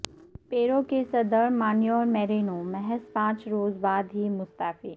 پیرو کے صدر Manuel Merino محض پانچ روز بعد ہی مستعفی